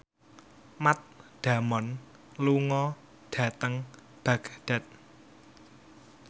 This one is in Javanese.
Matt Damon lunga dhateng Baghdad